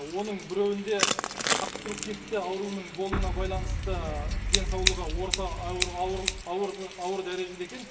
оның біреуінде обструктивті ауруының болуына байланысты денсаулығы орта ауыр дәрежеде екен